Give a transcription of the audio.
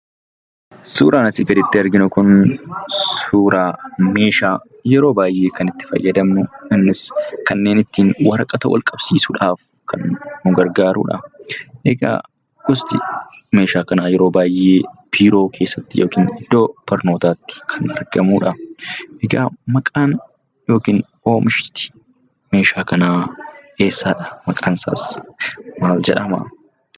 Suuraan nuti asii gaditti arginu kun, suuraa meshaa yeroo baay'ee itti fayyadamnu. Innis kan ittin waraqaa itti qabsiisuudhaaf kan nu gargaarudha. Egaa gosti meeshaa kanaa yeroo baay'ee biiroo keessatti yookaan iddoo barnootaatti argamudha. Egaa maqaan yookaan oomishni meeshaa kanaa eessadha? Maqaan isaas maal jedhama?